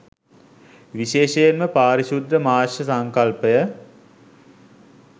විශේෂයෙන්ම පාරිශුද්ධ මාංශ සංකල්පය